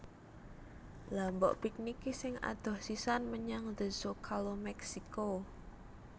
Lha mbok piknik ki sing adoh sisan menyang The Zocalo Meksiko